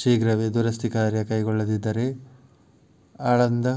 ಶೀಘ್ರವೇ ದುರಸ್ತಿ ಕಾರ್ಯ ಕೈಗೊಳ್ಳದಿದ್ದರೇ ಆಳಂದ